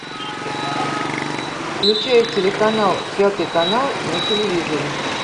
включай телеканал пятый канал на телевизоре